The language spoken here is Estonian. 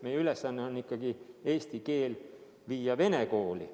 Meie ülesanne on ikkagi eesti keel viia vene kooli.